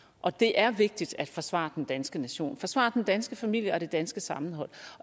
og det er vigtigt at forsvare den danske nation forsvare den danske familie og det danske sammenhold